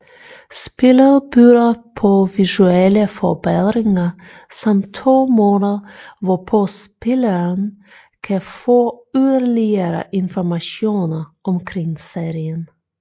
Spillet byder på visuelle forbedringer samt to måder hvorpå spilleren kan få yderligere informationer omkring serien